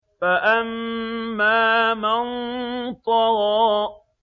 فَأَمَّا مَن طَغَىٰ